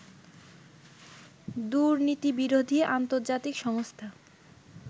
দুর্নীতিবিরোধী আন্তর্জাতিক সংস্থা